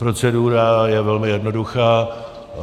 Procedura je velmi jednoduchá.